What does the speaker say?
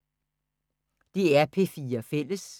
DR P4 Fælles